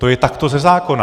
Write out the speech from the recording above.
To je takto ze zákona.